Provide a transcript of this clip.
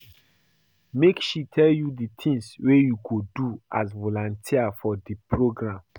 Make she tell you di tins wey you go do as volunteer for di programme.